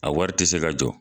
A wari te se ka jɔ